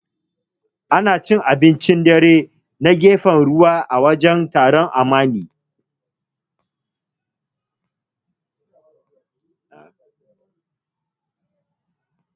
Ana cin abincin dare na gefen ruwa, a wajen taron Amani.